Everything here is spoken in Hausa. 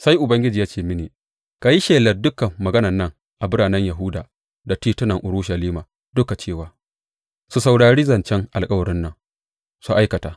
Sai Ubangiji ya ce mini, Ka yi shelar dukan maganan nan a biranen Yahuda da titunan Urushalima duka cewa, Su saurari zancen alkawarin nan, su aikata.